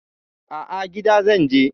A'a, gida zan je.